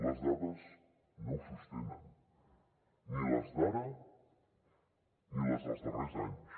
les dades no ho sostenen ni les d’ara ni les dels darrers anys